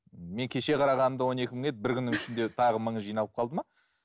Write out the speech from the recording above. мен кеше қарағанда он екі мың еді бір күннің ішінде тағы мыңы жиналып қалды ма